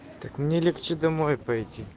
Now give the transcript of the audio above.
так мне легче домой пойти